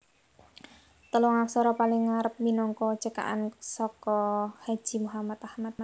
Telung aksara paling ngarep minangka cekakan saka Haji Muhammad Ahmad